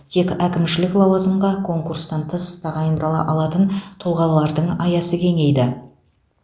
тек әкімшілік лауазымға конкурстан тыс тағайындала алатын тұлғалардың аясы кеңейді